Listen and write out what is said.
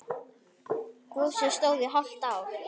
Gosið stóð í hálft ár.